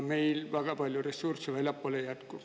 Meil väga palju ressursse väljapoole ei jätku.